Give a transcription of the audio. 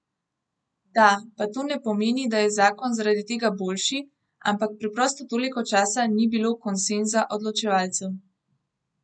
Da, pa to ne pomeni, da je zakon zaradi tega boljši, ampak preprosto toliko časa ni bilo konsenza odločevalcev.